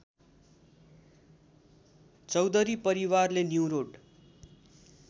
चौधरी परिवारले न्युरोड